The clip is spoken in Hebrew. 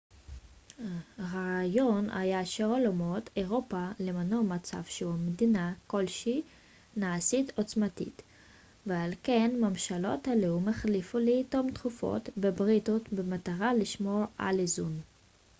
הרעיון היה שעל אומות אירופה למנוע מצב שבו מדינה כלשהי נעשית עוצמתית ועל כן ממשלות הלאום החליפו לעיתים תכופות בריתות במטרה לשמור על איזון